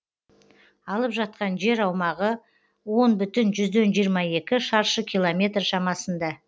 алып жатқан жер аумағы он бүтін жүзден жиырма екі шаршы километр шамасында